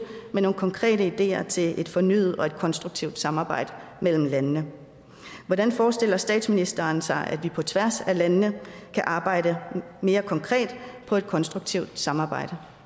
med nogle konkrete ideer til et fornyet og konstruktivt samarbejde mellem landene hvordan forestiller statsministeren sig at vi på tværs af landene kan arbejde mere konkret på et konstruktivt samarbejde